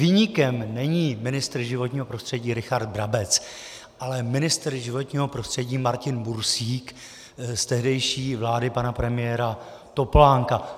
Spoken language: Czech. Viníkem není ministr životního prostředí Richard Brabec, ale ministr životního prostředí Martin Bursík z tehdejší vlády pana premiéra Topolánka.